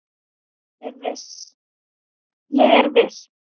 Ég er viss.